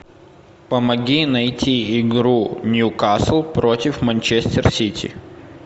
помоги найти игру ньюкасл против манчестер сити